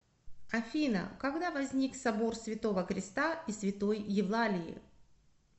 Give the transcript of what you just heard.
афина когда возник собор святого креста и святой евлалии